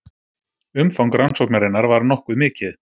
Umfang rannsóknarinnar var nokkuð mikið